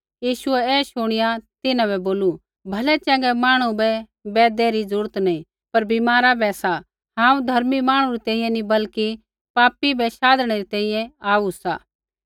यीशुऐ ऐ शुणिया तिन्हां बै बोलू भलैचँगै मांहणु बै बैदै री जरूरत नैंई पर बीमारा बै सा हांऊँ धर्मी मांहणु री तैंईंयैं नी बल्कि पापी बै शाधणै री तैंईंयैं आऊ सा